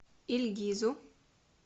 ильгизу